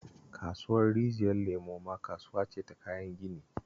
Kasuwar Rijiyar Lemo ma kasuwa ce ta kayan gini